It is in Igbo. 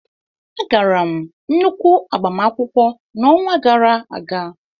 Agara m nnukwu agbamakwụkwọ n'ọnwa gara aga.